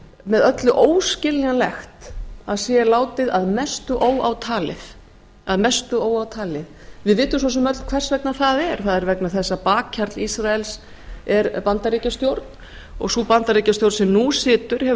með öllu óskiljanlegt að sé látið að mestu óátalið við vitum svo sem öll hvers vegna það er það er vegna þess að bakhjarl ísraels er bandaríkjastjórn og sú bandaríkjastjórn sem nú situr hefur